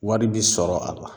Wari bi sɔrɔ a la.